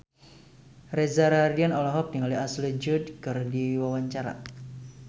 Reza Rahardian olohok ningali Ashley Judd keur diwawancara